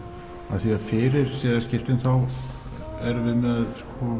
af því að fyrir siðaskipti erum við með